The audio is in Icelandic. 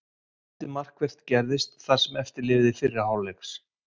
Lítið markvert gerðist það sem eftir lifði fyrri hálfleiks.